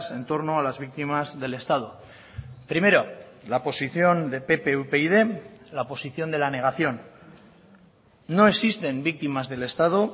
en torno a las víctimas del estado primero la posición de pp upyd la posición de la negación no existen víctimas del estado